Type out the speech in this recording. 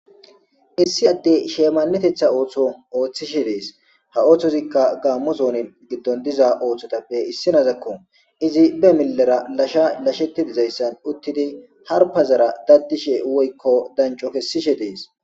issi adde sheemannetetha ooththo ooththishe dees ha ooththozikka gaammo zoonin giddon diza ooththotappe issinazakko izi be millera lasha lashetidizayssan uttidi harpazara daddishe woykko danco kessishe dees